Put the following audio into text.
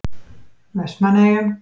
Vestmannaeyjum